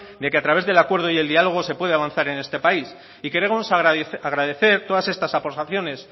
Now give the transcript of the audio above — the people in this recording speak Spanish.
de que a través del acuerdo y el diálogo se puede avanzar en este país y queremos agradecer todas estas aportaciones